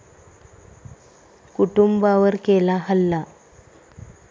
कुटुंबावर केला हल्ला